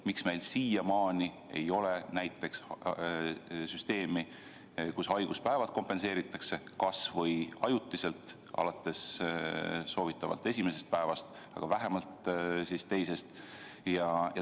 Miks meil siiamaani ei ole näiteks süsteemi, et haiguspäevi kompenseeritaks kas või ajutiselt soovitavalt alates esimesest päevast või vähemalt teisest?